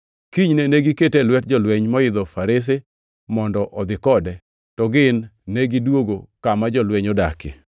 Kinyne negikete e lwet jolweny moidho farese mondo odhi kode, to gin negidwogo kama jolweny odakie.